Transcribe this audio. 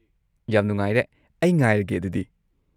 ꯌꯥꯝ ꯅꯨꯡꯉꯥꯏꯔꯦ, ꯑꯩ ꯉꯥꯏꯔꯒꯦ ꯑꯗꯨꯗꯤ꯫